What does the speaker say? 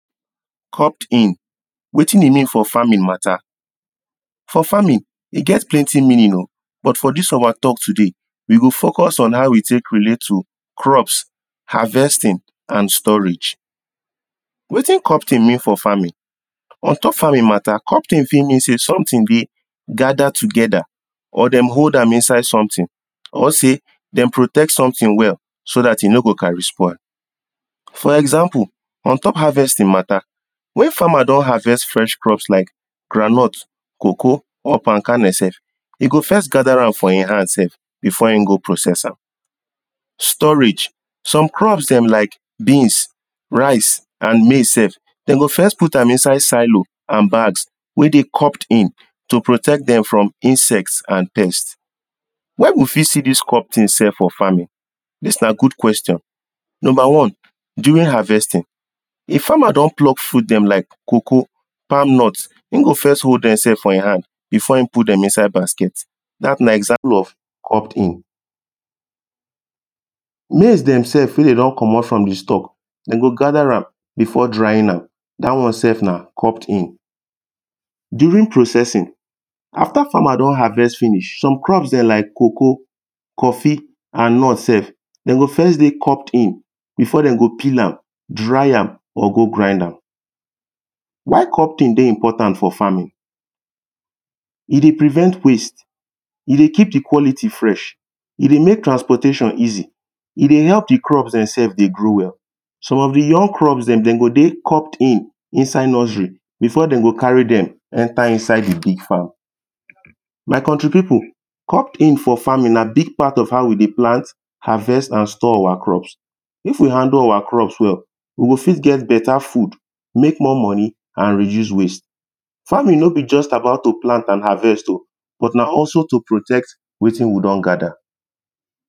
cobbed in wetin e mean for farming matter for farming e get plenty meaning o but for this our talk today we go focus on how e take relate to crops harvesting and storage wetin cobbed in mean for farming ontop farming matter cobbed in fit mean say something deh gathered together or them hold am inside somethig or say them protect somthing well so that e no go carry soil for example ontop harvesting matter when farmers don harvest fresh crops like groundnut cocoa or palm karnel sef e go first gather am for in hand sef before in go process am storage some crops them like beans rice and maize sef them go first put am inside silo and bags where they cobbed in to protect them from insects and pets where we fit see this cob thing sef for farming this nah good question number one during harvesting a farmer don pluck fruit them like cocoa palm nut him go first hold them sef for in hand before him put them inside basket that nah example of cobbed in maize them sef fit deh do commot from the stock them go gather am before drying am that one sef nah cobbed in during processing after farmer don harvest finish some crop them like cocoa coffee and nut sef them go first deh cobbed in befor them go peal am dry dry am or go grind am why cobbed in deh important for farming e deh prevent waste e deh keep the quality fresh e deh make transportation easy e deh help the crops them sef dey grow well some of the young crops them them go deh cobbed in inside nursery before them go carry them enter inside the big farm my country people cobbed in for farming nah big part of how we deh plan harvest and store our crop if we handle our crops well we go fit get better food make more money and reduce waste farming no be just about to plant and harvest o but nah also to protect wetin you don gather